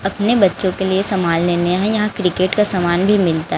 अपने बच्चों के लिए सामान लेने है यहां क्रिकेट का सामान भी मिलता--